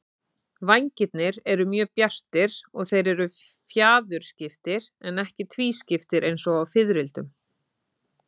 Vængirnir eru mjög bjartir og þeir eru fjaðurskiptir en ekki tvískiptir eins og á fiðrildum.